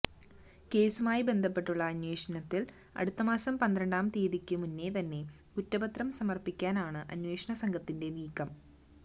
കേസുമായി ബന്ധപ്പെട്ടുള്ള അന്വേഷണത്തില് അടുത്ത മാസം പന്ത്രണ്ടാം തീയതിയ്ക്ക് മുന്നേ തന്നെ കുറ്റപത്രം സമര്പ്പിക്കാനാണ് അന്വേഷണ സംഘത്തിന്റെ നീക്കം